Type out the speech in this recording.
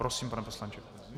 Prosím, pane poslanče.